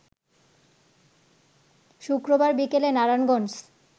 শুক্রবার বিকেলে নারায়ণগঞ্জ